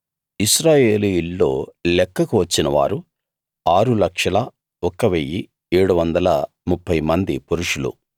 ఇశ్రాయేలీయుల్లో లెక్కకు వచ్చినవారు 601730 మంది పురుషులు